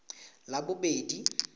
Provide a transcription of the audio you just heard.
labobedi